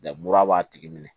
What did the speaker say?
mura b'a tigi minɛ